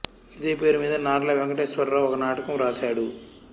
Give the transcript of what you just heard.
ఇదే పేరు మీద నార్ల వెంకటేశ్వర రావు ఒక నాటకం వ్రాశాడు